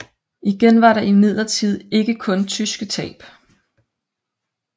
Igen var der imidlertid ikke kun tyske tab